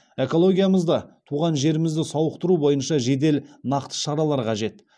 экологиямызды туған жерімізді сауықтыру бойынша жедел нақты шаралар қажет